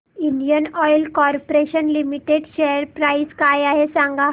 Indian Oil Corporation Limited share price काय आहे सांगा